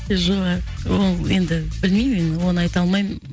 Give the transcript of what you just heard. жоқ ол енді білмеймін мен оны айта алмаймын